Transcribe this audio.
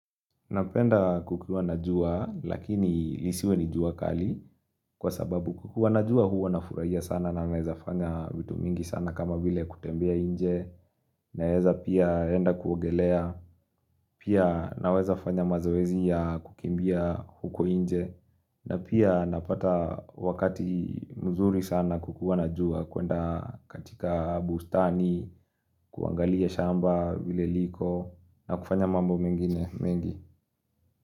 Napenda kukiwa na jua lakini lisiwe ni jua kali kwa sababu kukuwa na jua huwa nafurahia sana na naeza fanya vitu mingi sana kama vile kutembea nje naeza pia enda kuogelea pia naweza fanya mazoezi ya kukimbia huko nje na pia napata wakati mzuri sana kukuwa na jua kuenda katika bustani kuangalia shamba vile liko na kufanya mambo mengine mengi.